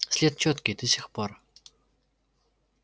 след чёткий до сих пор